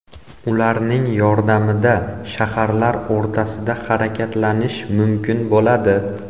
Ularning yordamida shaharlar o‘rtasida harakatlanish mumkin bo‘ladi.